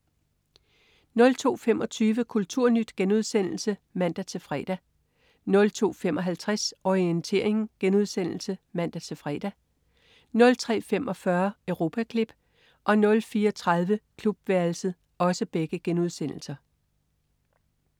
02.25 Kulturnyt* (man-fre) 02.55 Orientering* (man-fre) 03.45 Europaklip* 04.30 Klubværelset*